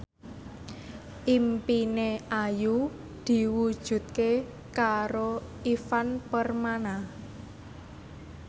impine Ayu diwujudke karo Ivan Permana